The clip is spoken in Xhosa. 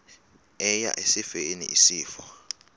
eya esifeni isifo